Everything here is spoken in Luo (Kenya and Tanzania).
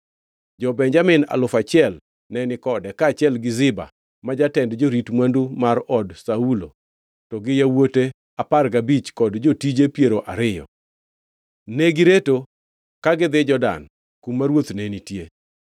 Jo-Benjamin alufu achiel ne ni kode, kaachiel Ziba, ma jatend jorit mwandu mar od Saulo, to gi yawuote apar gabich kod jotije piero ariyo. Negireto ka gidhi Jordan, kuma ruoth ne nitie.